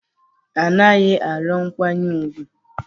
A naghị arịọ nkwanye ùgwù